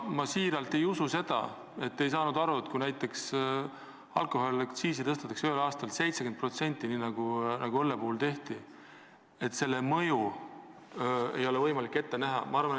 Ma tõesti ei usu, et te ei saanud aru, et kui alkoholiaktsiisi tõstetakse ühel aastal 70%, nii nagu õlle puhul tehti, siis mida see kaasa toob.